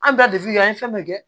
An bɛ taa kɛ an ye fɛn bɛɛ kɛ